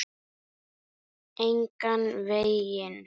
Engan veginn